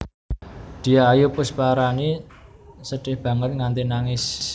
Dyah Ayu Pusparani sedih banget nganti nangis